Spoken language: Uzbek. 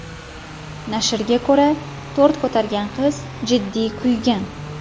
Nashrga ko‘ra, tort ko‘targan qiz jiddiy kuygan.